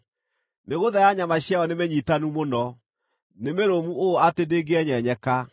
Mĩgũtha ya nyama ciayo nĩmĩnyiitanu mũno; nĩ mĩrũmu ũũ atĩ ndĩngĩenyenyeka.